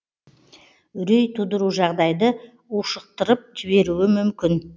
үрей тудыру жағдайды ушықтырып жіберуі мүмкін